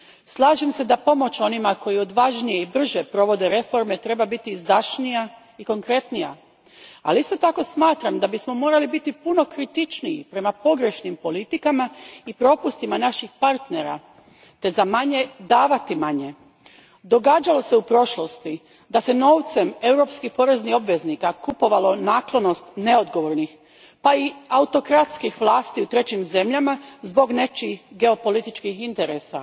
Slažem se da pomoć onima koji odvažnije i brže provode reforme treba biti izdašnija i konkretnija, ali isto tako smatram da bismo morali biti puno kritičniji prema pogrešnim politikama i propustima naših partnera te za manje davati manje. Događalo se u prošlosti da se novcem europskih poreznih obveznika kupovala naklonost neodgovornih, pa i autokratskih vlasti u trećim zemljama zbog nečijih geopolitičkih interesa.